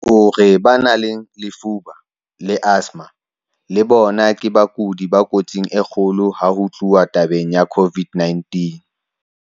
O re ba nang le lefuba, TB, le asthma le bona ke bakudi ba kotsing e kgolo ha ho tluwa tabeng ya COVID-19.